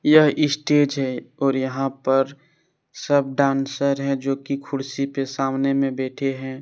यह स्टेज है और यहा पर सब डांसर है जो की खुर्सि पे सामने मे बैठे है।